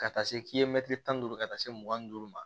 Ka taa se mɛtiri tan duuru ka taa se mugan ni duuru ma